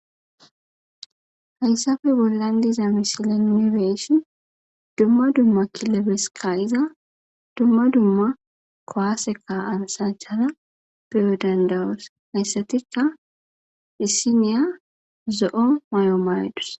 hayssafe bollan diza misila mibeshin dumma dumma kilebeska iza dumma dumma kowaaseka ansachada beyo dandawoos hayssatika dissiniya zo7o mayo maydus